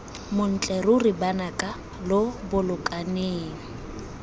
montle ruri banaka lo bolokaneng